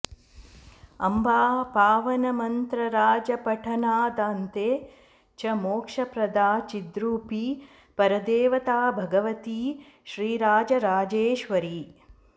अम्बा पावनमन्त्रराजपठनादन्ते च मोक्षप्रदा चिद्रूपी परदेवता भगवती श्रीराजराजेश्वरी